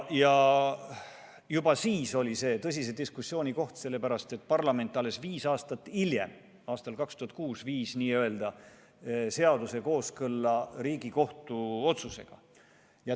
Juba siis oli see tõsise diskussiooni koht, sellepärast et parlament alles viis aastat hiljem, 2006. aastal n-ö viis seaduse kooskõlla Riigikohtu otsusega.